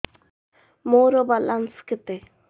ମୋର ବାଲାନ୍ସ କେତେ